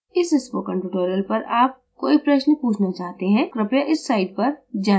इस spoken tutorial पर आप कोई प्रश्न पूछना चाहते हैं कृपया इस site पर जाएँ